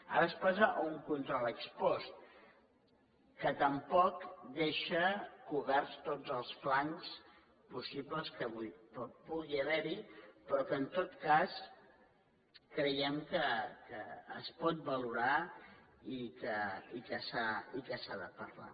ara es passa a un control ex post que tampoc deixa coberts tots els flancs possibles que pugui haver hi però que en tot cas creiem que es pot valorar i que s’ha de parlar